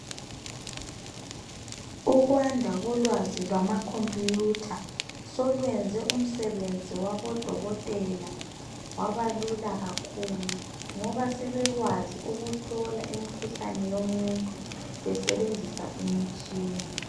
Ukwanda kolwazi lwama khompiyutha selwenze umisebenzi yabodokotela Yabalula kakhulu ngoba sebekwazi ukuhlola imkhuhlane yomuntu besebenzisa imitshina.